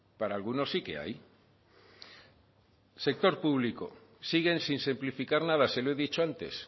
para algunos sí que hay sector público siguen sin simplificar nada se lo he dicho antes